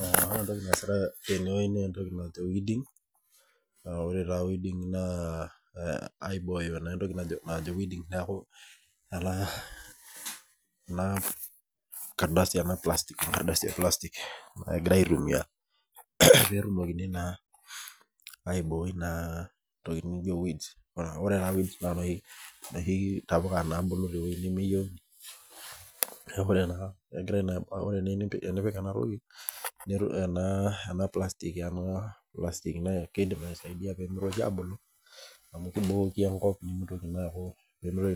Eh ore etoki naasitae tene wueji na etoki naaji weeding ah ore taa weeding naa aibooyo etoki naajo weeding neaku, ena kardasi e plastic egirae aitumia peetumokini naa aiboi naa tokitin naijo weeds . Ore taa weeds naa noshi tapuka nabulu tewueji nemeyiouni . Neaku ore pigirae teneyieu nipik ena toki ena plastic keidim aisaidia pee mitoki abulu amu kibooki enkop peemitoki na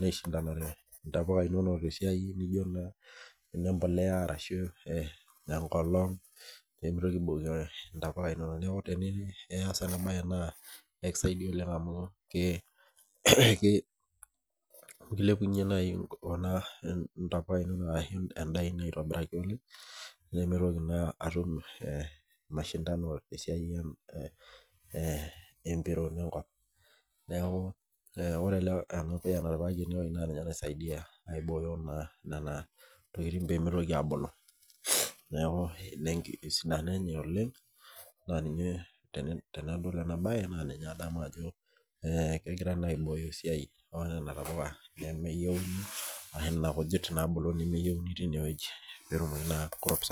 aishitanare intapuka inonok te siai naijo naa ene bolea arashu eh ekolong pee mitoki aibooki intapuka inonok teniyieu nias ena bae naa ekisaidia oleng amu , ekilepunye naaji kuna ntapuka inonok arashu endaa ino aitobiraki oleng , nemeitoki naa atum eh masindano te siaii eh epiroo enkop . Neaku eh ore ele puya otipikaki enkop naa ninye oisaidia nena tokitin pee mitoki abulu. Neaku ina esidano enye oleng naa ninye tenadol ena bae naa ninye, adamu ajo eh kegirae naa, aibooyo esiai onena tapuka nemeyiouni enaa nena kujit nabulu nemeyiouni nebulu tene wueji, peetumoki naa crops.